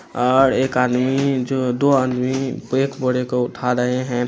और एक आदमी जो दो आदमी एक बोरे को उठा रहे हैं।